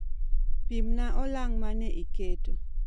Pimna olang' mane iketo